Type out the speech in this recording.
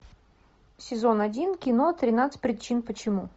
сезон один кино тринадцать причин почему